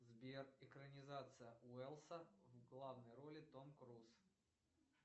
сбер экранизация уэлса в главной роли том круз